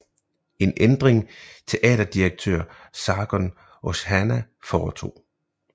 En ændring teaterdirektør Sargun Oshana foretog